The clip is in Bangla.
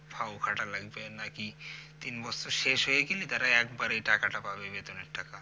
ফাও খাটা লাগবে নাকি তিন বছর শেষ হয়ে গেলে যারা একবারে টাকা টা পাবে বেতনের টা